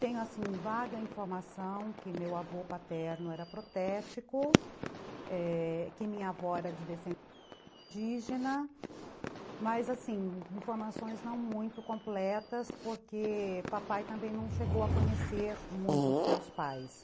Tenho assim, vaga informação que meu avô paterno era protético, é... que minha avó era de descendência indígena, mas assim, informações não muito completas, porque papai também não chegou a conhecer muito os seus pais.